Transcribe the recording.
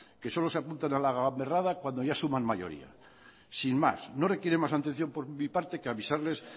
que solo se apuntan a la gamberrada cuando ya suman mayoría sin más no requieren más atención por mi parte que avisarles